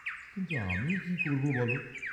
কিন্তু আমি কি করব বল?